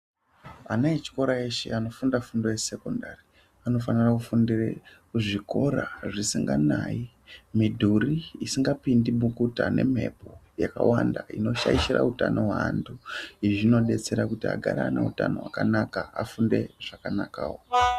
Ana echikora eshe anofunda fundo yesokandari anofanira kufundira kuzvikora zvisinganayi mudhuri isingapindi mukuta emhepo izvi zvinodetsera agare ane hutano hwakanaka.